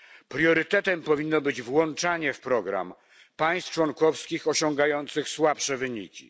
Priorytetem powinno być włączanie w program państw członkowskich osiągających słabsze wyniki.